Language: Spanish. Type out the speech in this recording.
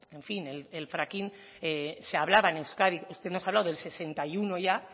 en fin el fracking se hablaba en euskadi usted nos ha hablado del sesenta y uno ya